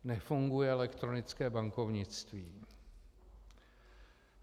Nefunguje elektronické bankovnictví.